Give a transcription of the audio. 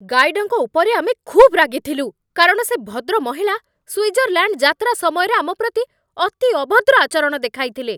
ଗାଇଡ୍‌ଙ୍କ ଉପରେ ଆମେ ଖୁବ୍ ରାଗିଥିଲୁ କାରଣ ସେ ଭଦ୍ରମହିଳା ସ୍ୱିଜରଲ୍ୟାଣ୍ଡ ଯାତ୍ରା ସମୟରେ ଆମ ପ୍ରତି ଅତି ଅଭଦ୍ର ଆଚରଣ ଦେଖାଇଥିଲେ।